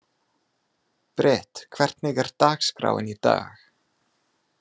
Brit, hvernig er dagskráin í dag?